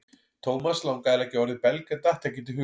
Thomas langaði að leggja orð í belg en datt ekkert í hug.